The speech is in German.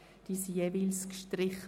Dieser wurde gestrichen.